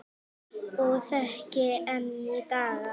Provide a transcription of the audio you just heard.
Og þekki enn í dag.